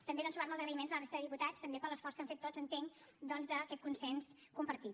també sumar me als agraïments a la resta de diputats també per l’esforç que han fet tots entenc doncs per aquest consens compartit